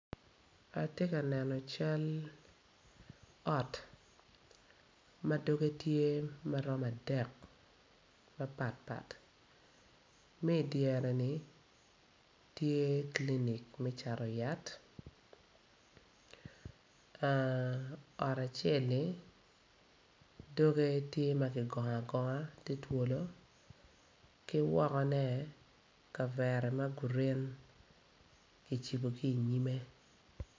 Atye ka neno cal ot ma doge tye ma romo adek mapatpat ma i dyere-ni tye clinic me cato yat ot acel-li doege tye ma kigongo agonga ki wokone kavera ma green kicibo i nyime.